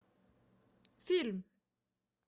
фильм